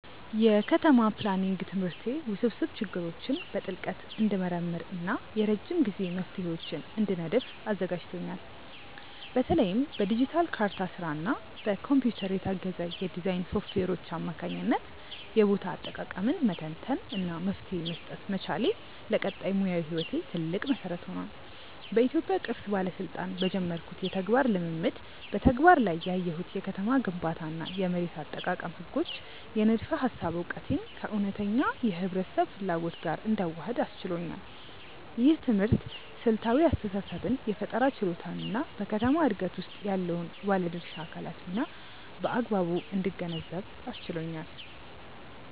የከተማ ፕላኒንግ ትምህርቴ ውስብስብ ችግሮችን በጥልቀት እንድመረምር እና የረጅም ጊዜ መፍትሄዎችን እንድነድፍ አዘጋጅቶኛል። በተለይም በዲጂታል ካርታ ስራ እና በኮምፒውተር የታገዘ የዲዛይን ሶፍትዌሮች አማካኝነት የቦታ አጠቃቀምን መተንተን እና መፍትሄ መስጠት መቻሌ፣ ለቀጣይ ሙያዊ ህይወቴ ትልቅ መሰረት ሆኗል። በኢትዮጵያ ቅርስ ባለስልጣን በጀመርኩት የተግባር ልምምድ በተግባር ላይ ያየሁት የከተማ ግንባታ እና የመሬት አጠቃቀም ህጎች የንድፈ ሃሳብ እውቀቴን ከእውነተኛ የህብረተሰብ ፍላጎት ጋር እንዳዋህድ አስችሎኛል። ይህ ትምህርት ስልታዊ አስተሳሰብን የፈጠራ ችሎታን እና በከተማ ዕድገት ውስጥ ያለውን የባለድርሻ አካላት ሚና በአግባቡ እንድገነዘብ አስችሎኛል።